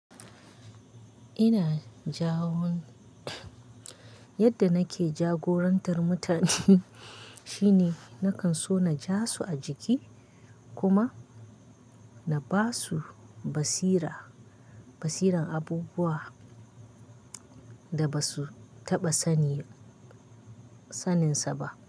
Ina jagun, yadda nake jagorantar mutane shine nakan so na ja su a jiki kuma na ba su basira, basiran abubuwa da ba su taɓa sani saninsa ba.